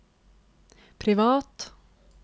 privat